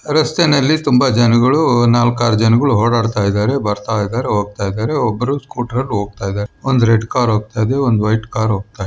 ರಸ್ತೆನಲ್ಲಿ ತುಂಬಾ ಜನಗಳು ನಾಲ್ಕಾರು ಜನಗಳು ಓಡಾಡ್ತಾ ಇದಾರೆ ಬರ್ತಾ ಇದಾರೆ. ಹೋಗ್ತಾ ಇದಾರೆ ಒಬ್ಬರು ಸ್ಕೂಟರ್ ಅಲ್ಲಿ ಹೋಗ್ತಾ ಇದಾರೆ. ಒಂದು ರೆಡ್ ಕಾರ್ ಹೋಗ್ತಾ ಇದೆ ಒಂದು ವೈಟ್ ಕಾರು ಹೋಗ್ತಾ--